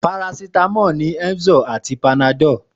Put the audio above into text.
Parasítámọ̀ ni Emzor àti Panadol.